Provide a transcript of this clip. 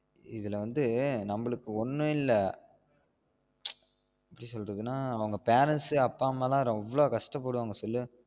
இதுல வந்து நம்மளுக்கு ஒன்னும் இல்ல ச் எப்படி சொல்றதுனா அவுங்க parents அப்பா அம்மாதா எவ்ளோ கஷ்டப்படுவாங்க சொல்லு